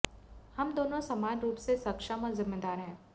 हम दोनों समान रूप से सक्षम और जिम्मेदार हैं